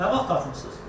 Nə vaxt atmısınız?